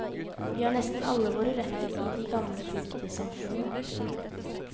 Vi har nesten alle våre røtter i de gamlebygdesamfunnene. punktum